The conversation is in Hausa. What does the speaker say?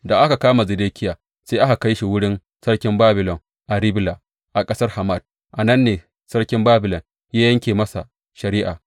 Da aka kama Zedekiya, sai aka kai shi wurin Sarkin Babilon a Ribla a ƙasar Hamat, a nan ne Sarkin Babilon ya yanke masa shari’a.